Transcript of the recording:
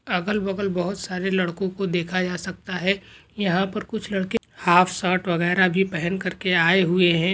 अगल बगल बहुत सारे लड़कों को देखा जा सकता है यहां पर कुछ लड़के हाफ शर्ट वगैरा भी पहन करके आए हुए है।